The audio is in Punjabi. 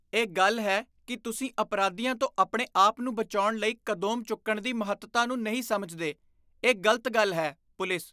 ਇਹ ਗੱਲ ਹੈ ਕੀ ਤੁਸੀਂ ਅਪਰਾਧੀਆਂ ਤੋਂ ਆਪਣੇ ਆਪ ਨੂੰ ਬਚਾਉਣ ਲਈ ਕਦੋਂਮ ਚੁੱਕਣ ਦੀ ਮਹੱਤਤਾ ਨੂੰ ਨਹੀਂ ਸਮਝਦੇ , ਇਹ ਗ਼ਲਤ ਗੱਲ ਹੈ ਪੁਲਿਸ